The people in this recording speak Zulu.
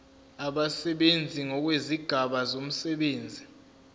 abasebenzi ngokwezigaba zomsebenzi